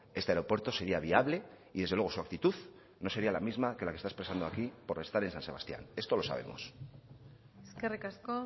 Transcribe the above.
este aeropuerto sería viable y desde luego su actitud no sería la misma que la que está expresando aquí por estar en san sebastián esto lo sabemos eskerrik asko